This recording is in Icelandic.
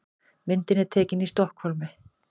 Myndin er tekin í Stokkhólmi.